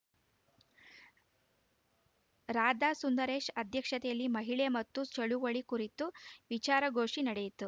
ರಾಧಾ ಸುಂದರೇಶ್‌ ಅಧ್ಯಕ್ಷತೆಯಲ್ಲಿ ಮಹಿಳೆ ಮತ್ತು ಚಳುವಳಿ ಕುರಿತು ವಿಚಾರಗೋಷಿ ನಡೆಯಿತು